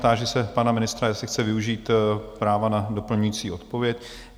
Táži se pana ministra, jestli chce využít práva na doplňující odpověď?